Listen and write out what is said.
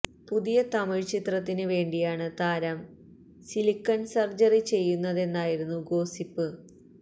പുതിയ തമിഴ് ചിത്രത്തിന് വേണ്ടിയാണ് താരം സിലിക്കണ് സര്ജറി ചെയ്യുന്നതെന്നായിരുന്നു ഗോസിപ്പ്